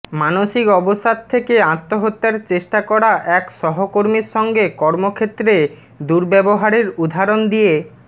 মানসিক অবসাদ থেকে আত্মহত্যার চেষ্টা করা এক সহকর্মীর সঙ্গে কর্মক্ষেত্রে দুর্ব্যবহারের উদাহরণ দিয়ে